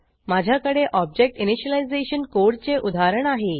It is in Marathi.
माझ्याकडे ऑब्जेक्ट इनिशियलायझेशन कोडचे उदाहरण आहे